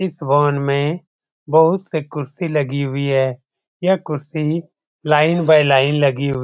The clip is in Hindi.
इस भवन में बहुत से कुर्सी लगी हुई हैं। यह कुर्सी लाइन बाय लाइन लगी हु --